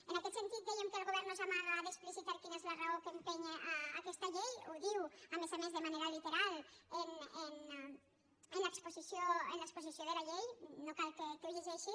en aquest sentit dèiem que el govern no s’amaga d’explicitar quina és la raó que l’empeny a aquesta llei ho diu a més a més de manera literal en l’exposició de la llei no cal que ho llegeixi